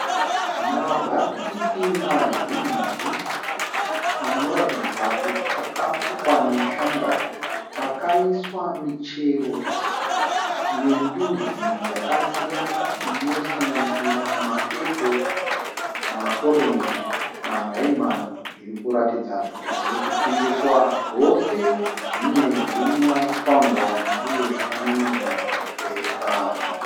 Mabhasikiti mazhinji , anoratidza kuti aka rukwa neshanga. Akaiswa michero yendudzi dzaka siyana , ino sanganisira maepo, maronji maraimani. Zviri kuradzidza kuti zviri kutengeswa, zvose zvine zvikwangwani uye zvaka namirwa zvipepa .